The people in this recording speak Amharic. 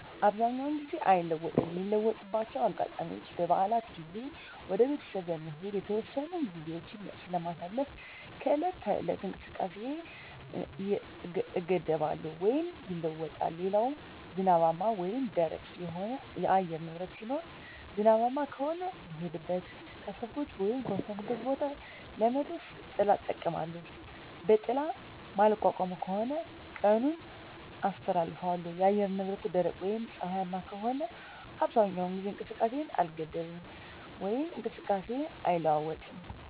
አብዛኛውን ጊዜ አይለወጥም ሚለወጥባቸው አጋጣሚዎች በበዓላት ጊዜ ወደ ቤተሰብ በመሄድ የተወሰኑ ግዜዎች ስለማሳልፍ ከዕለት ተዕለት እንቅስቃሴየ እገደባለው ወይም ይለወጣል ሌላው ዝናባማ ወይም ደረቅ የሆነ የአየር ንብረት ሲኖር ዝናባማ ከሆነ ልሄድበት ካሰብኩት ወይም ከወሰንኩት ቦታ ለመድረስ ጥላ እጠቀማለሁ በጥላ ማልቋቋመው ከሆነ ቀኑን አስተላልፋለሁ የአየር ንብረቱ ደረቅ ወይም ፀሀያማ ከሆነ አብዛኛውን ጊዜ ከእንቅስቃሴ አልገደብም ወይም እንቅስቃሴየ አይለዋወጥም